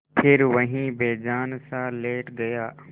फिर वहीं बेजानसा लेट गया